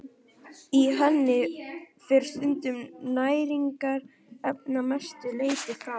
Í henni fer sundrun næringarefnanna að mestu leyti fram.